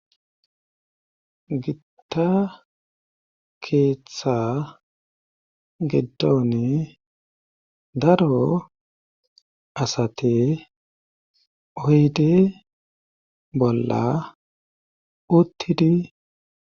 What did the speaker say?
gitta keeththa giddon daro asate oydi bolla uttidi